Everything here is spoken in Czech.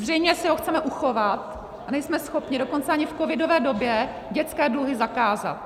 Zřejmě si ho chceme uchovat a nejsme schopni dokonce ani v covidové době dětské dluhy zakázat.